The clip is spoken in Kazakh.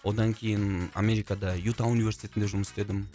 одан кейін америкада юта университетінде жұмыс істедім